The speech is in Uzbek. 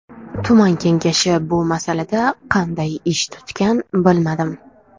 Tuman kengashi bu masalada qanday ish tutgan bilmadim.